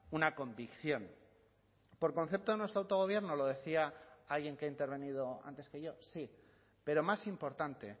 una convicción por concepto de nuestro autogobierno lo decía alguien que ha intervenido antes que yo sí pero más importante